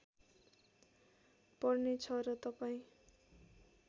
पर्ने छ र तपाईँ